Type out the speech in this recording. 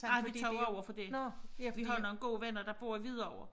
Ej vi tog over for det vi har nogle gode venner der bor i Hvidovre